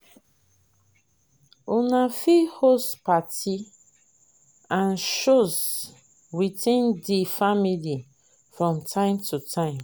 una fit host party and shows within di family from time to time